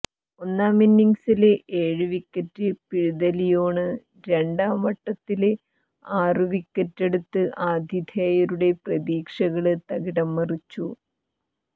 ഒന്നാമിന്നിങ്സില് ഏഴു വിക്കറ്റ് പിഴുത ലിയോണ് രണ്ടാംവട്ടത്തില് ആറു വിക്കറ്റെടുത്ത് ആതിഥേയരുടെ പ്രതീക്ഷകള് തകിടംമറിച്ചു